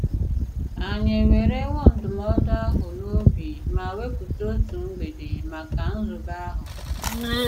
Ànyị̀ èwèrèwò ndụm̀ọ̀dụ àhụ̀ n'òbì ma wèpùtà otu mg̀bèdè maka nzùbè àhụ̀?